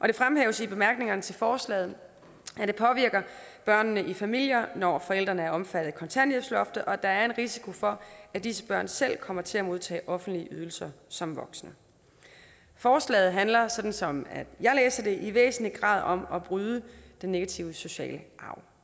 det fremhæves i bemærkningerne til forslaget at det påvirker børnene i familier når forældrene er omfattet af kontanthjælpsloftet og at der er en risiko for at disse børn selv kommer til at modtage offentlige ydelser som voksne forslaget handler sådan som jeg læser det i væsentlig grad om at bryde den negative sociale arv